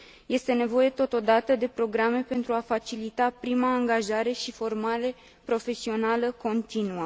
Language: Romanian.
Este nevoie, totodată, de programe pentru a facilita prima angajare și formare profesională continuă.